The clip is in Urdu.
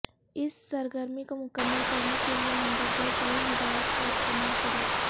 اس سرگرمی کو مکمل کرنے کیلئے مندرجہ ذیل ہدایات کا استعمال کریں